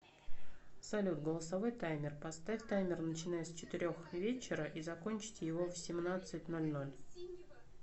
салют голосовой таймер поставь таймер начиная с четырех вечера и закончить его в семнадцать ноль ноль